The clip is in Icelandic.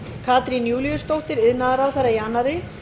katrín júlíusdóttir iðnaðarráðherra í annarri